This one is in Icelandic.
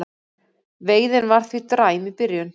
Veiðin var því dræm í byrjun